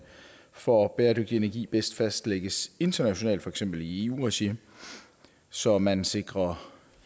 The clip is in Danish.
for bæredygtig energi bedst fastlægges internationalt i for eksempel eu regi så man sikrer